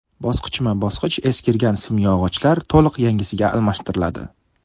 Bosqichma-bosqich eskirgan simyog‘ochlar to‘liq yangisiga almashtiriladi.